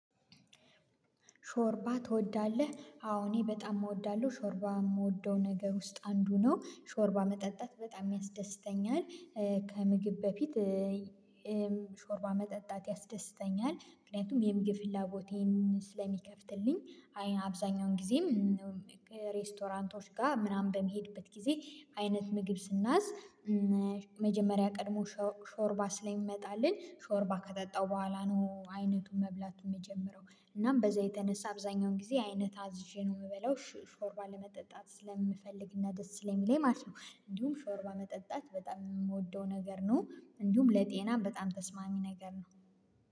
ሾርባ ትወዳለህ? አዎ እኔ በጣም እወዳለሁ ሾርባ የምወደው ነገር ውስጥ አንዱ ነው ሾርባ መጠጣት በጣም ያስደስተኛል። ከምግብ በፊት። ሾርባ መጠጣት ያስደስተኛል ምክንያቱም የምግብ ፍላጎቴን ስለሚከፍትልኝ። አብዛኛውን ጊዜም ሬስቶራንቶች ጋር ምናምን በምሄድበት ጊዜ አይነት ምግብ ስና ዝ መጀመሪያ ቀድሞ ሾርባ ስለሚመጣልን ሾርባ ከጠጣው በኋላ ነው አይነቱን መብላቱን የምጀምረው። እናም በዛ የተነሳ አብዛኛውን ጊዜ አይነት አዝዤ ነው የምበላው ሾርባ ለመጠጣት ስለምፈልግና ደስ ስለሚለኝ ማለት ነው። እንዲሁም ሾርባ መጠጣት በጣም የምወደው ነገር ነው። እንዲሁም ለጤናም በጣም ተስማሚ ነገር ነው።